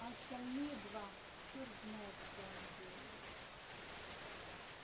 а остальные два чёрт знает что они делают